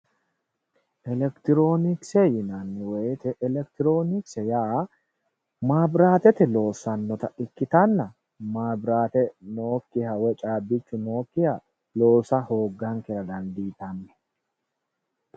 Elekitironkise yaa mabiratete loossanotta ikkittanna mabirate nookkoha woyi caabbichu noyikkiha loossa hoogankera dandiittano.